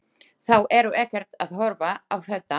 Þau eru ekkert að horfa á þetta?